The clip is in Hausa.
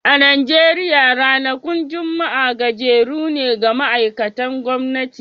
A Najeriya ranakun Juma'a gajeru ne ga ma'aikatan gwamnati